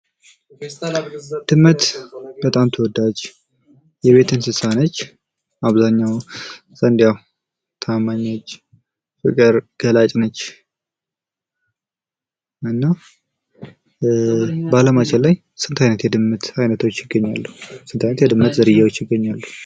ድመት በጣም ተወዳጅ የቤት እንስሳ ነች። አብዛኛው ዘንድ ታማኝ ነች ፣ ፍቅር ገላጭ ነች። እና በ አለማችን ላይ ስንት አይነት የድመት አይነቶች/ዝርያዎች ይገኛሉ?